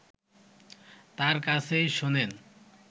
তার কাছেই শোনেন